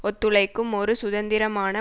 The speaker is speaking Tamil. ஒத்துழைக்கும் ஒரு சுதந்திரமான